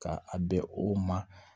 Ka a bɛn o ma